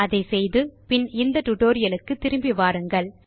அதை செய்து பின் இந்த டியூட்டோரியல் க்கு திரும்பி வாருங்கள்